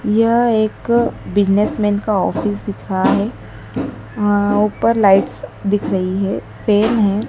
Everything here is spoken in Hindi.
यह एक बिजनेसमैन का ऑफिस दिख रहा है अ ऊपर लाइट्स दिख रही है पेड है।